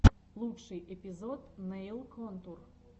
лучший эпизод нэйл контур